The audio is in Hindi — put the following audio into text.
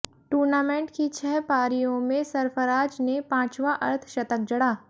टूर्नामेंट की छह पारियों में सरफराज ने पांचवां अर्धशतक जड़ा